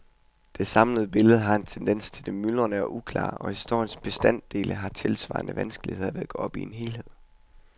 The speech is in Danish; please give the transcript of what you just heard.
Det samlede billede har en tendens til det myldrende og uklare, og historiens bestanddele har tilsvarende vanskeligheder ved at gå op i en helhed.